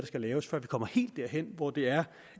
skal laves før vi kommer helt derhen hvor det er